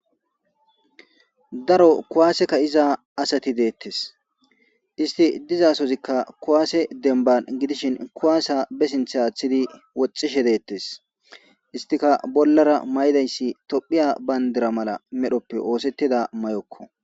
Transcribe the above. Daro kuwaase ka 'iza asati deettes. isti dizasozikka kuwaase dembban gidishin kuwaasa be sinthth aaththidi woxxishe deettes. istika bollara may'idayssi tophiya bayndira mala medhoppe oosettida mayokko.